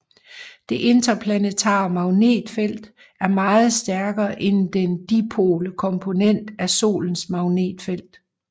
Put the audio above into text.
Det interplanetare magnetfelt er meget stærkere end den dipole komponent af Solens magnetfelt